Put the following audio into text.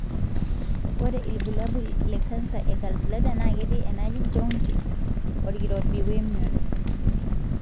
ore ilbulabul e canser e gallbladder na ketii enaji jaundice, olkirobi wemion.